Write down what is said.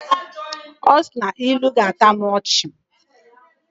Ọ sị na ilu ga-atọ m ọchị